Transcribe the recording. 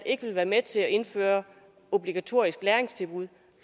ikke vil være med til at indføre obligatoriske læringstilbud